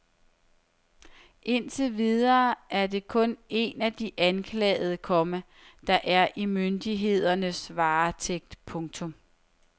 Indtil videre er det kun en af de anklagede, komma der er i myndighedernes varetægt. punktum